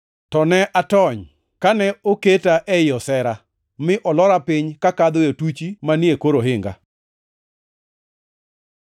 To ne atony, kane oketa ei osera, mi olora piny kakadho e otuchi manie kor ohinga.